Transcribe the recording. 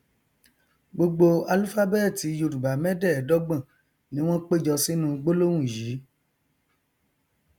gbogbo álúfábẹẹtì yorùbá mẹdẹẹdọgbọn ni wọn péjọ sínú gbólóhùn yìí